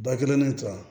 Da kelen to a